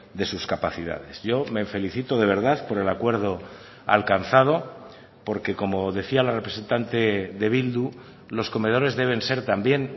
de sus capacidades yo me felicito de verdad por el acuerdo alcanzado porque como decía la representante de bildu los comedores deben ser también